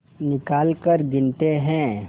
निकालकर गिनते हैं